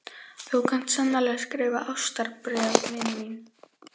Þú kant sannarlega að skrifa ástarbréf, vina mín.